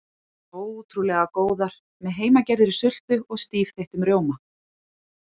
Ótrúlega góðar með heimagerðri sultu og stífþeyttum rjóma.